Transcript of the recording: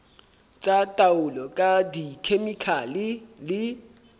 tsa taolo ka dikhemikhale le